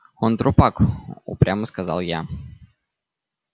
он трупак упрямо сказал я